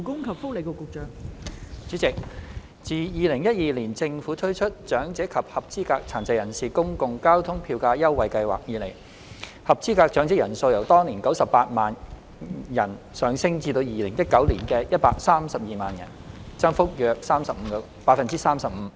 代理主席，自2012年政府推出長者及合資格殘疾人士公共交通票價優惠計劃以來，合資格長者人數由當年的98萬人上升至2019年的132萬人，增幅約 35%。